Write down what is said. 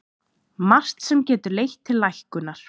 Margt sem getur leitt til lækkunar